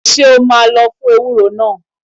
Ṣé o ma lọ fún ewúro náà?